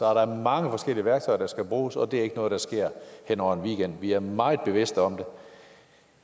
er der mange forskellige værktøjer der skal bruges og det er ikke noget der sker hen over en weekend det er vi meget bevidste om